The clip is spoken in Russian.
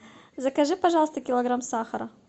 закажи пожалуйста килограмм сахара